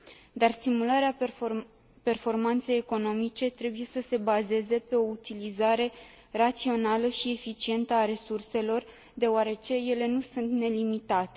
dar stimularea performanței economice trebuie să se bazeze pe o utilizare rațională și eficientă a resurselor deoarece ele nu sunt nelimitate.